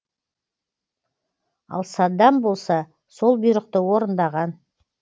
ал саддам болса сол бұйрықты орындаған